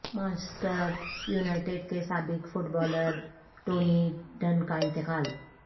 Manchester United کے سابق footballer Tony Dunne کا انتقال